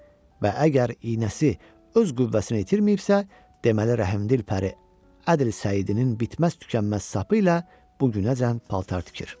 Və əgər iynəsi öz qüvvəsini itirməyibsə, deməli, rəhimdil pəri Ədli Səidinin bitməz-tükənməz sapı ilə bu günəcən paltar tikir.